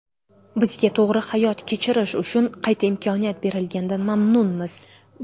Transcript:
Bizga to‘g‘ri hayot kechirish uchun qayta imkon berilganidan mamnunmiz.